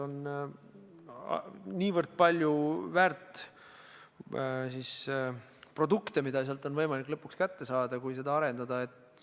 On väga palju väärt produkte, mida sealt on võimalik kätte saada, kui seda arendada.